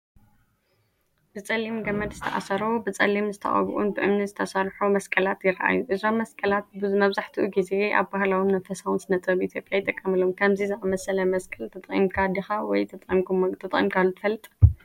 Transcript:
ብጸሊም ገመድ ዝተኣሰሩ ብጸሊም ዝተቐብኡን ብእምኒ ዝተሰርሑ መስቀላት ይረኣዩ። እዞም መስቀላት መብዛሕትኡ ግዜ ኣብ ባህላውን መንፈሳውን ስነ-ጥበብ ኢትዮጵያ ይጥቀሙ። ከምዚ ዝኣመሰለ መስቀል ተጠቒምካ ዲኻ ወይ ተጠቒምካሉ ትፈልጥ?